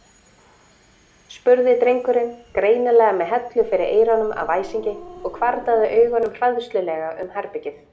spurði drengurinn, greinilega með hellu fyrir eyrunum af æsingi og hvarflaði augunum hræðslulega um herbergið.